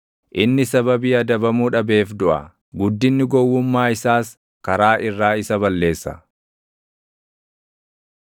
Inni sababii adabamuu dhabeef duʼa; guddinni gowwummaa isaas karaa irraa isa balleessa.